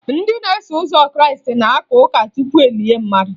Ndị na-eso ụzọ krịịstị na-aka ụka tupu e lie mmadụ